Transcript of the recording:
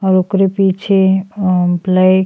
और ओकरे पीछे अम ब्लैक --